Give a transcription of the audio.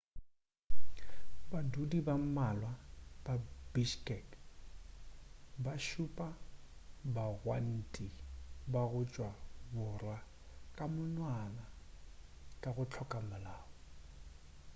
badudi ba mmalwa ba bishkek ba šupa bagwanti ba go tšwa borwa ka monwana ka go hloka molao